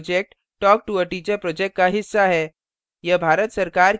spoken tutorial project talktoa teacher project का हिस्सा है